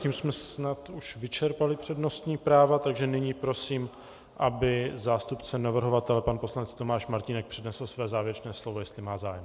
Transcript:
Tím jsme snad už vyčerpali přednostní práva, takže nyní prosím, aby zástupce navrhovatele pan poslanec Tomáš Martínek přednesl své závěrečné slovo, jestli má zájem.